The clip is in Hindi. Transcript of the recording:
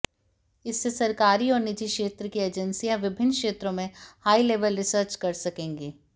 इससे सरकारी और निजी क्षेत्र की एजेंसियां विभिन्न क्षेत्रों में हाई लेवल रिसर्च कर सकेंगी